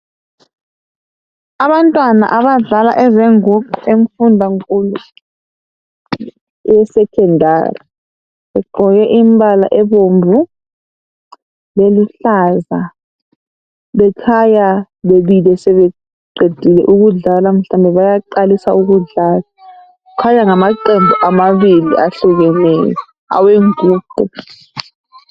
Abantwana abadlala ezenguqu emfundankulu esekhondari begqoke imbala ebomvu leluhlaza bekhanya bemile sebeqede ukudlala kumbe bayaqalisa. Kukhanya ngamaqembu amabili awenguqu.